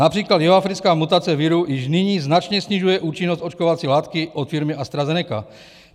Například jihoafrická mutace viru již nyní značně snižuje účinnost očkovací látky od firmy AstraZeneca.